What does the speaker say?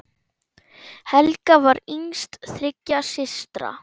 Helga var yngst þriggja systra.